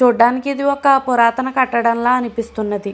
చూడడానికి ఇది ఒక పురాతన కట్టడం లాగా అనిపిస్తుంది.